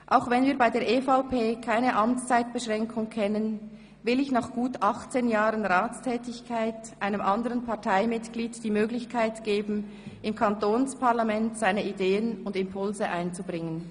Auch wenn wir bei der EVP keine Amtszeitbeschränkung kennen, will ich nach gut 18 Jahren Ratstätigkeit einem anderen Parteimitglied die Möglichkeit geben, im Kantonsparlament seine Ideen und Impulse einzubringen.